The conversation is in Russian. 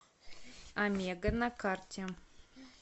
омега на карте